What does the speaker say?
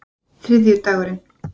þriðjudagurinn